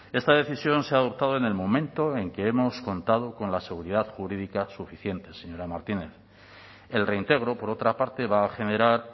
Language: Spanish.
esta decisión se ha adoptado en el momento en que hemos contado con la seguridad jurídica suficiente señora martínez el reintegro por otra parte va a generar